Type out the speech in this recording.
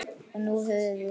Og nú höfum við